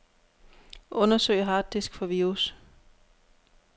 Undersøg harddisk for virus.